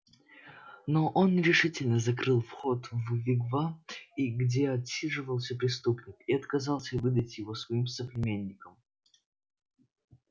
но он решительно закрыл вход в вигвам и где отсиживался преступник и отказался выдать его своим соплеменникам